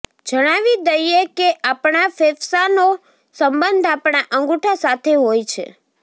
જણાવી દઈએ કે આપણા ફેફસાનો સંબંધ આપણા અંગુઠા સાથે હોય છે